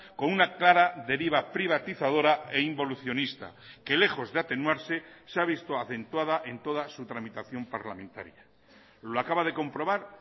con una clara deriva privatizadora e involucionista que lejos de atenuarse se ha visto acentuada en toda su tramitación parlamentaria lo acaba de comprobar